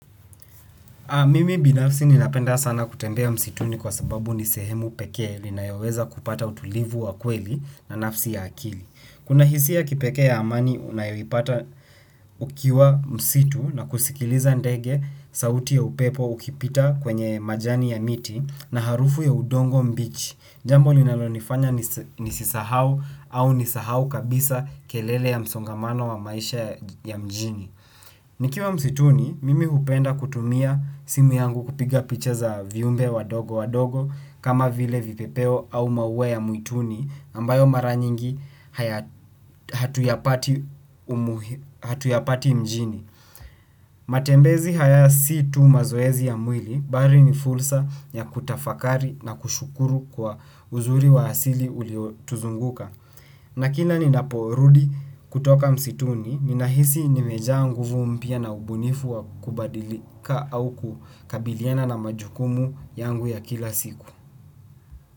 Mimi binafsi ninapenda sana kutembea msituni kwa sababu ni sehemu peke ninayoweza kupata utulivu wa kweli na nafsi ya akili. Kuna hisi ya kipeke ya amani unayoipata ukiwa msitu na kusikiliza ndege sauti ya upepo ukipita kwenye majani ya miti na harufu ya udongo mbichi. Jambo linalonifanya nisisisahau au nisahau kabisa kelele ya msongamano wa maisha ya mjini. Nikiwa msituni mimi hupenda kutumia simu yangu kupiga picha za viumbe wadogo wadogo kama vile vipepeo au maua ya mwituni ambayo mara nyingi hatuyapati mjini. Matembezi haya si tu mazoezi ya mwili bali ni fursa ya kutafakari na kushukuru kwa uzuri wa hasili uliotuzunguka. Na kila ninaporudi kutoka msituni, ninahisi nimejaa nguvu mpya na ubunifu wa kubadilika au kukabiliana na majukumu yangu ya kila siku.